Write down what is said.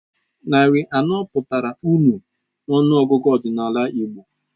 Narị anọ pụtara nnu n'ọnụọgụgụ ọdịnala Igbo.